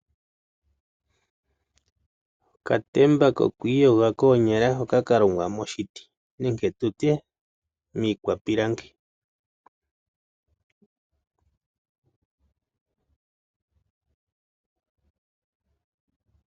Okatemba koku iyoga koonyala hoka ka longwa moshiti nenge tu tye, miikwapilangi.